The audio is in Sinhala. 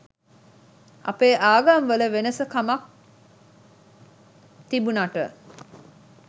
අපේ ආගම්වල වෙනස කමක් තිබුනට